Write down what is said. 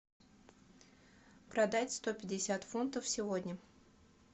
продать сто пятьдесят фунтов сегодня